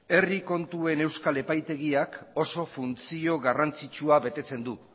herri kontuen euskal epaitegiak oso funtzio garrantzitsua betetzen du